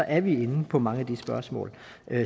er vi inde på mange af de spørgsmål